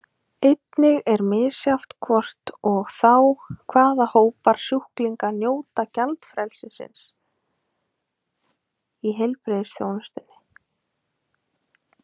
Einnig er misjafnt hvort og þá hvaða hópar sjúklinga njóta gjaldfrelsis í heilbrigðisþjónustunni.